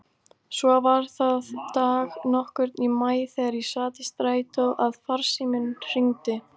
Svo var það dag nokkurn í maí þegar ég sat í strætó að farsíminn hringdi.